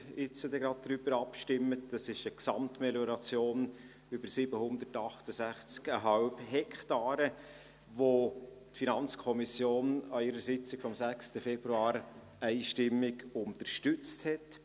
Es ist eine Gesamtmelioration über 768,5 Hektaren, welche die FiKo an ihrer Sitzung vom 6. Februar einstimmig unterstützte.